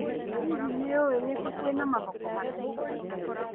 Hihi, nĩ ũĩ nĩ kũ kwĩna mathoko manene?